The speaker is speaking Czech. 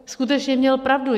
Skutečně měl pravdu.